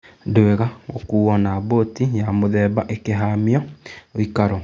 Ndwĩga gũkuo na mbũti ya mũthemba ikĩhamio ũikaro.